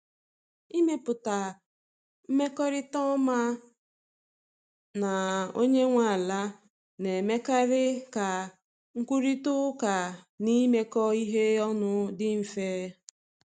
Ịmepụta mmekọrịta ọma na onye nwe ala na-emekarị ka nkwurịta okwu na imekọ ihe ọnụ dị mfe.